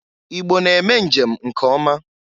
Igbo na-eme njem nke ọma.